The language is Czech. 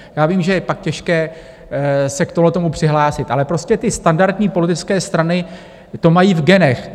Já vím, že je pak těžké se k tomuhle přihlásit, ale prostě ty standardní politické strany to mají v genech.